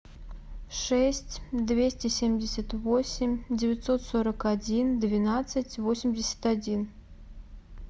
шесть двести семьдесят восемь девятьсот сорок один двенадцать восемьдесят один